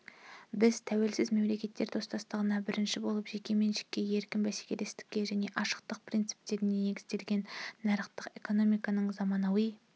біз тәуелсіз мемлекеттер достастығында бірінші болып жеке меншікке еркін бәсекелестікке және ашықтық принциптеріне негізделген нарықтық экономиканың заманауи